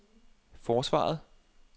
forsvaret